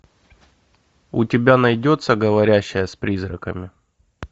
у тебя найдется говорящая с призраками